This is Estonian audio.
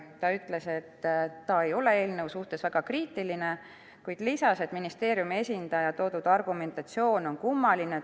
Ta ütles, et ta ei ole eelnõu suhtes väga kriitiline, kuid lisas, et ministeeriumi esindaja toodud argumentatsioon on kummaline.